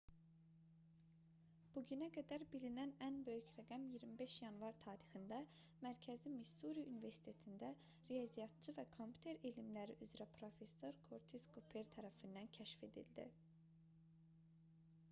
bu günə qədər bilinən ən böyük rəqəm 25 yanvar tarixində mərkəzi missuri universitetində riyaziyyatçı və kompüter elmləri üzrə professor körtis kuper tərəfindən kəşf edildi